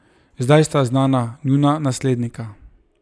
Zdaj sta znana njuna naslednika.